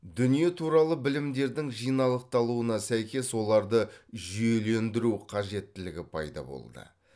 дүние туралы білімдердің жиналықталуына сәйкес оларды жүйелендіру қажеттілігі пайда болды